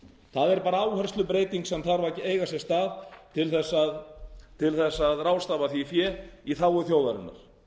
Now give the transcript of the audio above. það er bara áherslubreyting sem þarf að eiga sér stað til að ráðstafa því fé í þágu þjóðarinnar